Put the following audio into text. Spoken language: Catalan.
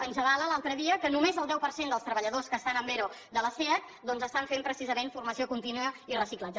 ens avala l’altre dia que només el deu per cent dels treballadors que estan amb ero de la seat doncs estan fent precisament formació contínua i reciclatge